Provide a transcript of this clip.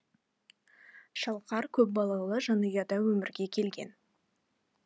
шалқар көпбалалы жанұяда өмірге келген